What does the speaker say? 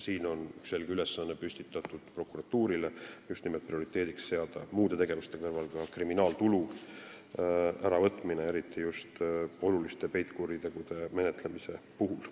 Siin on prokuratuurile antud selge ülesanne muude tegevuste kõrval seada prioriteediks ka kriminaaltulu äravõtmine, eriti just oluliste peitkuritegude menetlemisel.